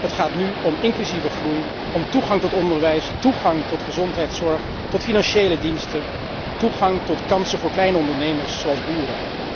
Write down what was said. Het gaat nu om inclusieve groei, om toegang tot onderwijs, toegang tot gezondheidszorg, toegang tot financiële diensten, toegang tot kansen voor kleine ondernemers, zoals boeren.